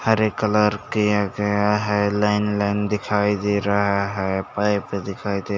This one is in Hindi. हरे कलर किया गया है लाइन-लाइन दिखाई दे रहा है पाइप दिखाई दे --